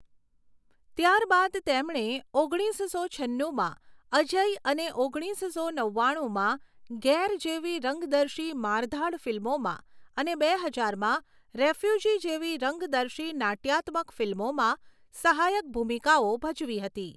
ત્યારબાદ તેમણે ઓગણીસસો છન્નુમાં 'અજય' અને ઓગણીસો નવ્વાણુંમાં 'ગેર' જેવી રંગદર્શી મારધાડ ફિલ્મોમાં અને બે હજારમાં 'રેફ્યુજી' જેવી રંગદર્શી નાટ્યાત્મક ફિલ્મોમાં સહાયક ભૂમિકાઓ ભજવી હતી.